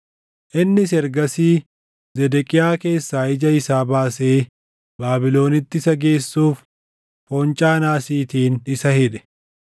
Innis ergasii Zedeqiyaa keessaa ija isaa baasee Baabilonitti isa geessuuf foncaa naasiitiin isa hidhe.